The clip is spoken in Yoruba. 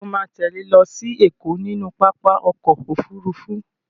Ṣo ma tẹ́lẹ̀ lọ sí Ẹ̀kọ́ nínú pápá ọkọ̀ Òfurufú?